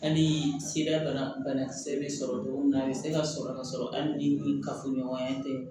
Hali ni sira banakisɛ bɛ sɔrɔ togo min na a bɛ se ka sɔrɔ ka sɔrɔ hali ni kafoɲɔgɔnya in tɛ